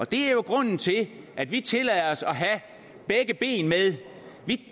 det er jo grunden til at vi tillader os at have begge ben med